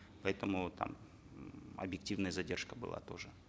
поэтому там м объективная задержка была тоже